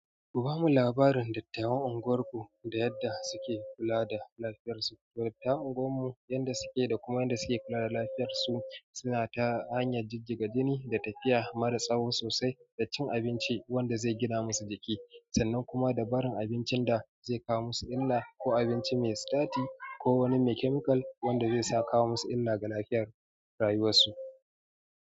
Kuba mu labarin dattawan unguwar ku da yadda suke kula da lafiyar su. Dattawan unguwar mu yanda suke da kuma yanda suke kula da lafiyar su, suna ta hanyar jijjiga jini da tafiya mara tsawo sosai da cin abinci wanda zai gina musu jiki, sannan kuma dabarar abincin da zai kawo musu illa, ko abinci me sitati ko wani me kemikal wanda zai sa kawo musu illa ga lafiyar rayuwar su.